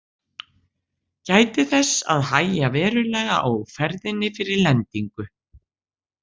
Gætið þess að hægja verulega á ferðinni fyrir lendingu.